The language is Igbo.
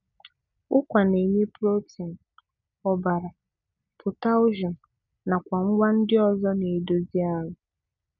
Ụkwa na-enye protein, ọbara, potassium, nakwa ngwa ndị ọzọ na-edozi ahụ.